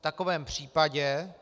V takovém případě